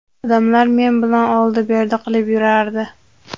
Odamlar men bilan oldi-berdi qilib yurardi.